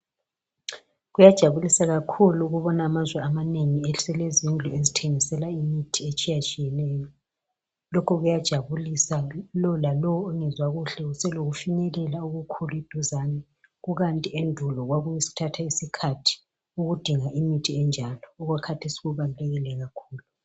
Kuyajabulisa kakhulu ukubona amazwe amanengi eselezindlu zokuthengisela imithi etshiyetshiyeneyo. Lowo lalowo ongezwa kuhle uselokufinyelela khona eduzane kukanti endulo kwakuthatha iskhathi ukudinga imithi enjalo. Okwakhathesi kubalulekile kakhulu.